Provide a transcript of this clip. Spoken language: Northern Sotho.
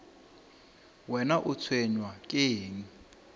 wena o tshwenywa ke eng